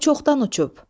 O çoxdan uçub.